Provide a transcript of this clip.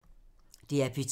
DR P2